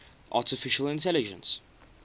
artificial intelligence